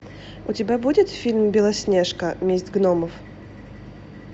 у тебя будет фильм белоснежка месть гномов